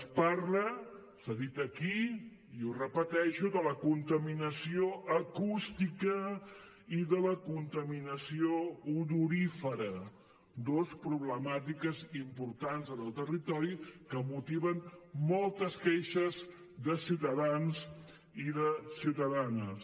es parla s’ha dit aquí i ho repeteixo de la contaminació acústica i de la contaminació odorífera dues problemàtiques importants en el territori que motiven moltes queixes de ciutadans i de ciutadanes